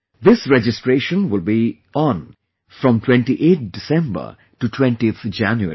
This registration will be on from 28th December to 20th January